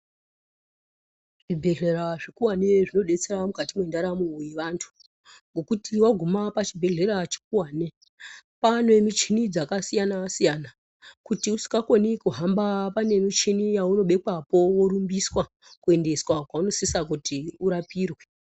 Zvibhedhlera zvikuwane zvinodetsera mukati mendaramo yevantu, ngokuti waguma pachibhedhlera chikuwane, pane michini dzakasiyana-siyana, kuti usikakoni kuhamba pane michini yaunobekwapo, worumbiswa kuendeswa kwaunosisa kuti urapirwe.